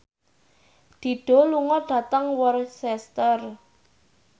Dido lunga dhateng Worcester